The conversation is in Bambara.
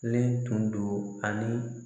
tun do ani